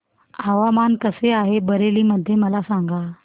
हवामान कसे आहे बरेली मध्ये मला सांगा